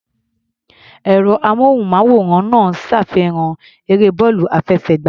Ẹ̀rọ-amóhùnmáwòrán náà ń ṣàfihàn eré bọ́ọ̀lù àfẹsẹ̀gbá.